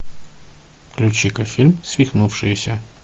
включи ка фильм свихнувшиеся